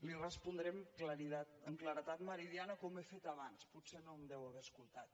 li respondré amb claredat meridiana com he fet abans potser no em deu haver escoltat